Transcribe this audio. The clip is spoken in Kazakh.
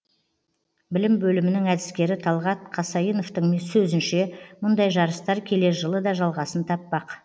білім бөлімінің әдіскері талғат қасайновтың сөзінше мұндай жарыстар келер жылы да жалғасын таппақ